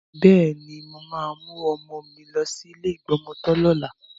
Bẹ́ẹ̀ni, mo máa mú ọmọ mi lọ sí ilé ìgbọmọtọ́ lọ́la.